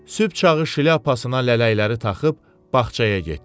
Sübh çağı şlyapasına lələkləri taxıb bağçaya getdi.